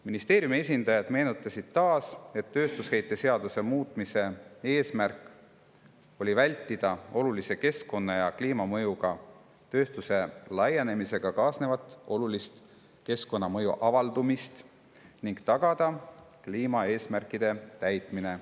Ministeeriumi esindajad meenutasid taas, et tööstusheite seaduse muutmise eesmärk oli vältida olulise keskkonna‑ ja kliimamõjuga tööstuse laienemisega kaasnevat olulist keskkonnamõju avaldumist ning tagada kliimaeesmärkide täitmine.